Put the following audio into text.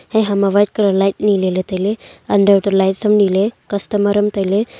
hehama white colour light ni lele taile under to light sam nile customer am taile.